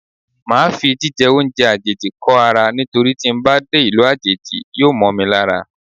Máa fi jí jẹ oúnjẹ àjèjì kó ara nítorí tí ń bá dé ìlú àjèjì yóò mọ́ mi lára.